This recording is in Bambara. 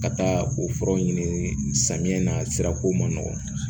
Ka taa o furaw ɲini samiya na sira ko man nɔgɔn